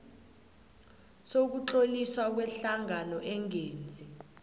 sokutloliswa kwehlangano engenzi